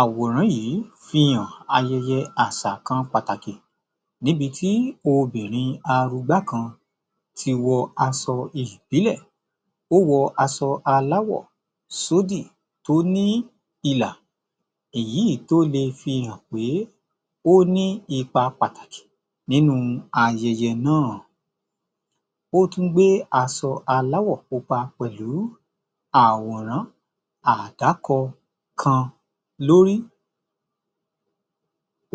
Àwòrán yìí fi hàn ayẹyẹ àṣà kan pàtàkì níbi tí obìrin arugbá kan ti wọ aṣọ ìbílẹ̀, ó wọ aṣọ aláwọ̀ sódì tó ní ilà èyí tó lè fi hàn pé ó ní ipa pàtàkì nínú ayẹyẹ náà. Ó tún gbé aṣọ aláwọ̀ pupa pẹ̀lú àwòrán àdákọ kan lórí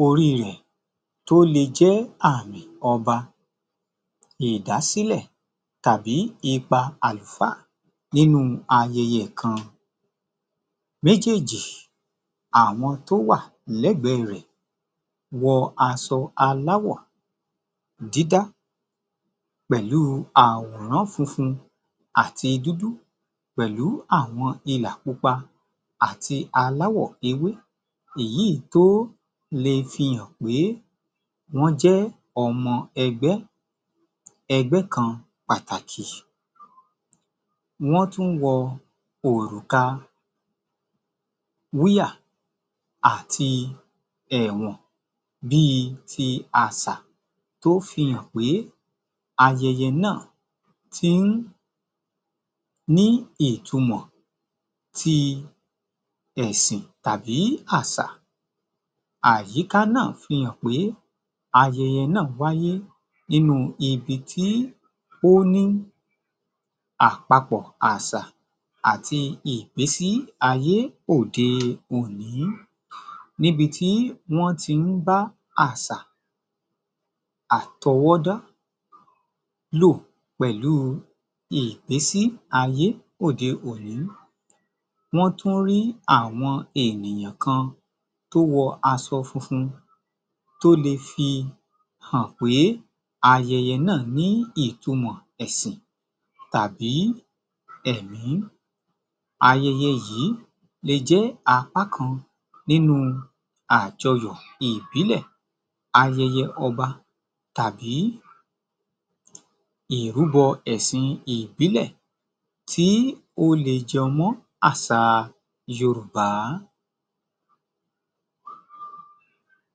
orí rẹ̀ tó lè jẹ́ àmì ọba ìdásílẹ̀ tàbí ipa àlùfáà nínú ayẹyẹ kan. Méjèèjì, àwọn tó wà lẹ́gbẹ rẹ̀ wọ aṣọ aláwọ̀ dídá pẹ̀lú àwòrán funfun àti dúdú pẹ̀lú àwọn ilà pupa àti aláwọ̀ ewé, èyí tó lè fi hàn pé wọ́n jẹ́ ọmọ ẹgbẹ́, ẹgbẹ́ kan pàtàkì. Wọ́n tún wọ òrùka wúyà àti èwọ̀n bí i ti àṣà tó fi hàn pé ayẹyẹ náà ti ń ní ìtumọ̀ ti ẹ̀sìn tàbí àṣà. Àyíká náà fi hàn pé ayẹyẹ náà wayé nínú ibi tí ó ní àpapọ̀ àṣà àti ìgbésí ayé òde òní níbi tí wọ́n ti ń bá àṣà àtọwọ́dá lò pẹ̀lú ìgbésí ayé òde-òní. Wọ́n tún rí àwọn ènìyàn kan tó wọ aṣọ funfun tó lè fihàn pé ayẹyẹ náà ní ìtumọ̀ ẹ̀sìn tàbí ẹ̀mí. Ayẹyẹ yìí lè jẹ́ apá kan nínú àjọyọ̀ ìbílẹ̀, ayẹyẹ ọba tàbí ìrúbọ ẹ̀sìn ìbílẹ̀ tí ó lè jọ mọ́ àṣà yorùbá